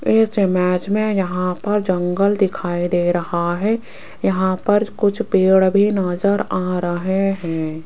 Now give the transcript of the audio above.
इस इमेज में यहां पर जंगल दिखाई दे रहा है यहां पर कुछ पेड़ भी नजर आ रहे हैं।